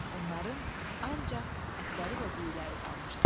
Onların ancaq ətləri və düyuləri qalmışdı.